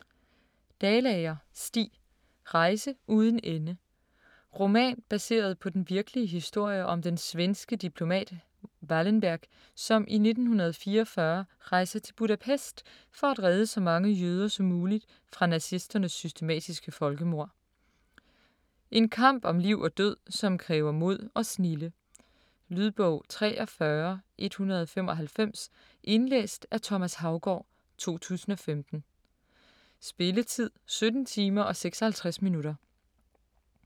Dalager, Stig: Rejse uden ende Roman baseret på den virkelige historie om den svenske diplomat Wallenberg, som i 1944 rejser til Budapest for at redde så mange jøder som muligt fra nazisternes systematiske folkemord. En kamp om liv og død, som kræver mod og snilde. Lydbog 43195 Indlæst af Thomas Haugaard, 2015. Spilletid: 17 timer, 56 minutter.